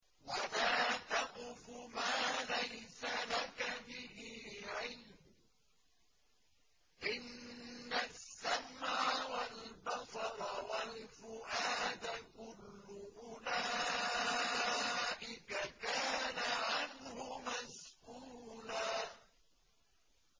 وَلَا تَقْفُ مَا لَيْسَ لَكَ بِهِ عِلْمٌ ۚ إِنَّ السَّمْعَ وَالْبَصَرَ وَالْفُؤَادَ كُلُّ أُولَٰئِكَ كَانَ عَنْهُ مَسْئُولًا